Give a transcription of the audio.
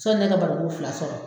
Sɔni ne ka barikon fila sɔrɔ